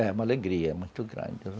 É, uma alegria muito grande.